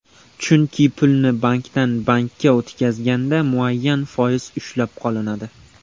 Chunki pulni bankdan bankka o‘tkazganda muayyan foiz ushlab qolinadi.